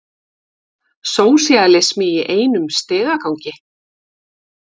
Sósíalismi í einum stigagangi.